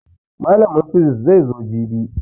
Mallamin fisis zai zo jibi